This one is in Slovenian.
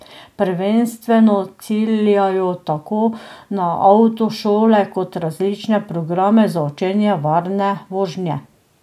Prvenstveno ciljajo tako na avtošole kot različne programe za učenje varne vožnje.